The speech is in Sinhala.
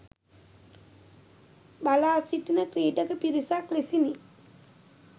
බලා සිටින ක්‍රීඩක පිරිසක් ලෙසිනි.